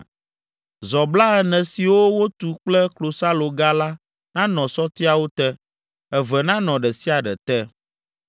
Zɔ blaene siwo wotu kple klosaloga la nanɔ sɔtiawo te, eve nanɔ ɖe sia ɖe te.